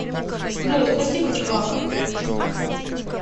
джой спасибо чувак